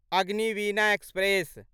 Agniveena express